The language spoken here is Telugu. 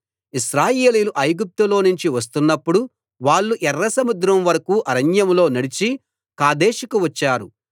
ఇశ్రాయేలీయులు ఐగుప్తులోనుంచి వస్తున్నప్పుడు వాళ్ళు ఎర్రసముద్రం వరకూ అరణ్యంలో నడిచి కాదేషుకు వచ్చారు